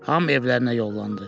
Hamı evlərinə yollandı.